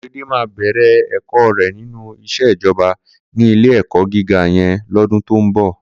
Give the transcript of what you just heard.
Korede má bèrè èkò rè ninú iṣé ijòbá ni ilé èkò gigá yèn lòdún tó n bò